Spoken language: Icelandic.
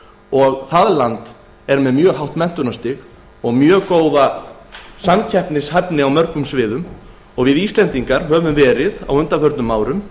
og er menntunarstig þeirra hátt og þeir vel samkeppnishæfir á mörgum sviðum við íslendingar höfum á undanförnum árum